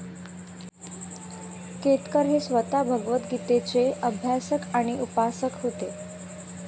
केतकर हे स्वतः भगवतगीतेचे अभ्यासक आणि उपासक होते